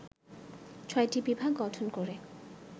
৬টি বিভাগ গঠন করে